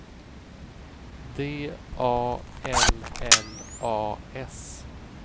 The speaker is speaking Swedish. D A L L A S